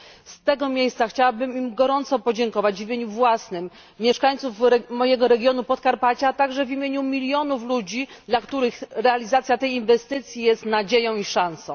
Z tego miejsca chciałabym im gorąco podziękować w imieniu własnym, mieszkańców mojego regionu Podkarpacia, a także w imieniu milionów ludzi, dla których realizacja tej inwestycji jest nadzieją i szansą.